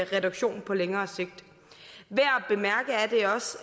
reduktion på længere sigt værd